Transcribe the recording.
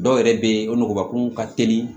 Dɔw yɛrɛ bɛ yen o nuguba kun ka teli